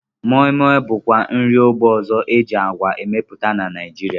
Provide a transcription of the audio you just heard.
Moi Moi bụkwa nri ógbè ọzọ e ji agwa emepụta na Naijiria